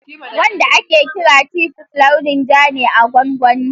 Wanda ake kira titus launin ja ne na gongoni